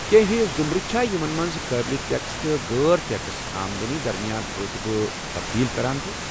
کٮینٛہہ ہوۍ ضُمرٕ چھا یمن منٛز قٲبلہ ٹیكس تہٕ غٲر ٹیكس آمدنی درمِیان روطبہٕ تبدیل كران چُھ ؟